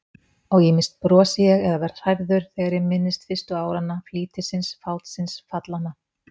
Og ýmist brosi ég eða verð hrærður þegar ég minnist fyrstu áranna, flýtisins, fátsins, fallanna.